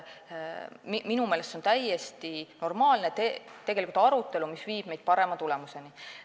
Minu meelest on see täiesti normaalne arutelu, mis viib meid parema tulemuseni.